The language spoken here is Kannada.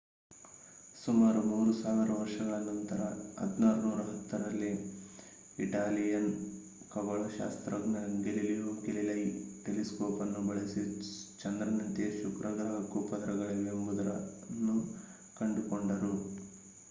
ಸುಮಾರು 3 ಸಾವಿರ ವರ್ಷಗಳ ನಂತರ 1610 ರಲ್ಲಿ ಇಟಾಲಿಯನ್ ಖಗೋಳಶಾಸ್ತ್ರಜ್ಞ ಗೆಲಿಲಿಯೋ ಗೆಲಿಲೈ ಟೆಲಿಸ್ಕೋಪ್ ಅನ್ನು ಬಳಸಿ ಚಂದ್ರನಂತೆಯೇ ಶುಕ್ರ ಗ್ರಹಕ್ಕೂ ಪದರಗಳಿವೆ ಎಂಬುದನ್ನು ಕಂಡುಕೊಂಡರು